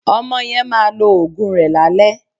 Ọmọ yẹn máa lo òògùn rẹ̀ lálẹ́